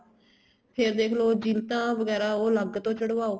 ਫ਼ੇਰ ਦੇਖਲੋ ਜਿਲਤਾਂ ਵਗੈਰਾ ਉਹ ਅੱਲਗ ਤੋ ਚੜਵਾਓ